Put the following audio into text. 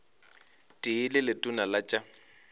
tee le letona la tša